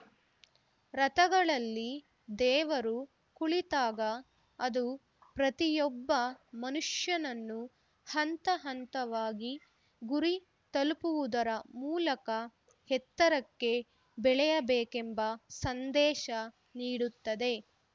ರಥಗಳಲ್ಲಿ ದೇವರು ಕುಳಿತಾಗ ಅದು ಪ್ರತಿಯೊಬ್ಬ ಮನುಷ್ಯನನ್ನು ಹಂತಹಂತವಾಗಿ ಗುರಿ ತಲುಪುವುದರ ಮೂಲಕ ಎತ್ತರಕ್ಕೆ ಬೆಳೆಯ ಬೇಕೆಂಬ ಸಂದೇಶ ನೀಡುತ್ತದೆ